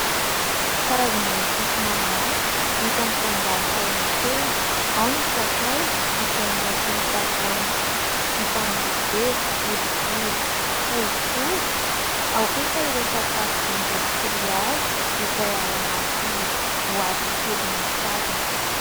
karazana episy maromaro hita mitandahatra eny an-tsena; ao ny sakay izay anaty tavoahangy vita amin'ny vera boribory fohifohy , ao kosa ireo sakafo indostrialy izay ao anaty boaty kely misarona